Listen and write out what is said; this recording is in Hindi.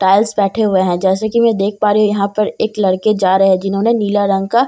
टाइल्स बैठे हुए हैं जैसा की मैं देख पा रही हूँ यहाँ पर एक लड़के जा रहे हैं जिन्होनें नीला रंग का --